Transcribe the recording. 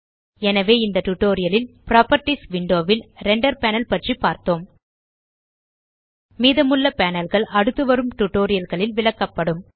எனவே இந்த டியூட்டோரியல் லில் புராப்பர்ட்டீஸ் விண்டோ ல் ரெண்டர் பேனல் பற்றி பார்த்தோம் மீதமுள்ள panelகள் அடுத்துவரும் டியூட்டோரியல் களில் விளக்கப்படும்